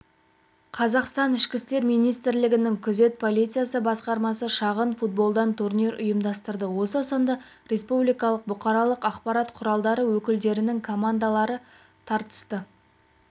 қазақстан ішкі істер министірлігінің күзет полициясы басқармасы шағын футболдан турнир ұйымдастырды осы сында республикалық бұқаралық ақпарат құралдары өкілдерінің командалары тартысты турнир